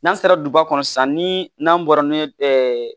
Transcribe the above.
N'an sera duba kɔnɔ sisan ni n'an bɔra n'o ye